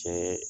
Cɛn yɛrɛ